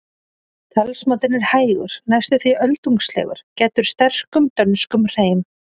Talsmátinn er hægur, næstum því öldungslegur, gæddur sterkum dönskum hreim.